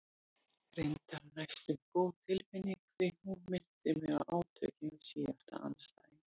Reyndar næstum góð tilfinning því hún minnti mig á átökin við síðasta andstæðing.